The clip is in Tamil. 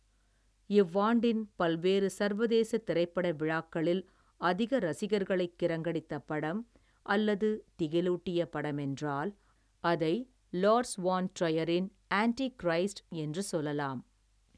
இவ்வாண்டின் பல்வேறு சர்வதேசத் திரைப்பட விழாக்களில் அதிக ரசிகர்களை கிறங்கடித்த படம் அல்லது திகிலூட்டிய படமென்றால் அதை லார்ஸ் வான் ட்ரையரின் ஆன்ட்டி கிரைஸ்ட் என்று சொல்லலாம்.